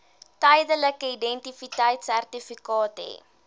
tydelike identiteitsertifikaat hê